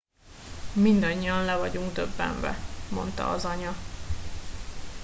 mindannyian le vagyunk döbbenve - mondta az anya